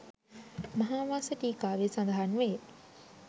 මහාවංස ටීකාවේ සඳහන් වේ.